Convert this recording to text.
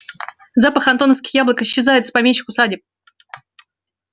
запах антоновских яблок исчезает из помещичьих усадеб